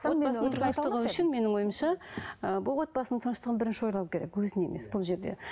менің ойымша ы бұл отбасының тыныштығын бірінші ойлау керек өзін емес бұл жерде